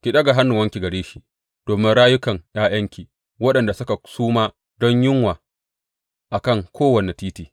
Ki ɗaga hannuwanki gare shi domin rayukan ’ya’yanki, waɗanda suka suma don yunwa a kan kowane titi.